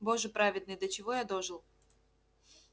боже праведный до чего я дожил